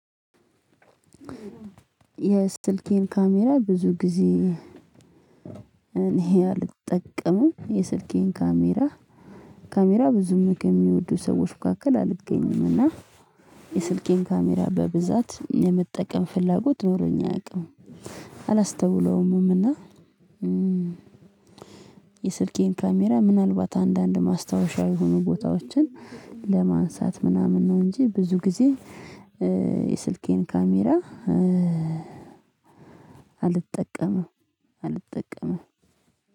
የስልኬን ካሜራ ብዙ ጊዜ እኔ አልጠቀምም የስልኬን ካሜራ ካሜራ ብዙም ሚወዱ ሰዎች መካከል አልገኝም እና የስልኬን ካሜራ በብዛት የምጠቀም ፍላጎት ኖሮኝ አያቅም አላስተውለውምምና። የስልኬን ካሜራ ምናልባት አንዳንድ ማስታወሻ የሆኑ ቦታዎችን ለማንሳት ምናምን ነው እንጂ ብዙ ጊዜ የስልኬን ካሜራ አልጠቀምም። አልጠቀምም